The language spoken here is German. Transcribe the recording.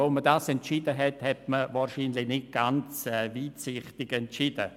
Als man diesen Entscheid fällte, war das wahrscheinlich nicht sehr weitsichtig.